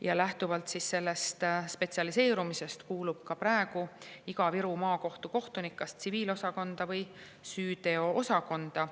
Ja lähtuvalt sellest spetsialiseerumisest kuulub ka praegu iga Viru Maakohtu kohtunik kas tsiviilosakonda või süüteoosakonda.